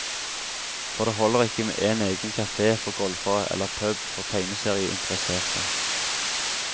For det holder ikke med en egen kafé for golfere eller pub for tegneserieinteresserte.